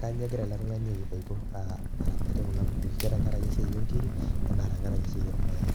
kanyoo egira ele tung'ani aa aramatie kuna kukui, ke tenkaraki esiai oo nkirik enaa tenkaraki esiai oormayai.